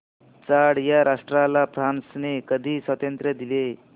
Chad या राष्ट्राला फ्रांसने कधी स्वातंत्र्य दिले